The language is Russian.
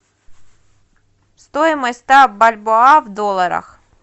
стоимость ста бальбоа в долларах